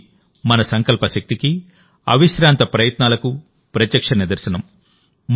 ఇది మన సంకల్ప శక్తికి అవిశ్రాంత ప్రయత్నాలకు ప్రత్యక్ష నిదర్శనం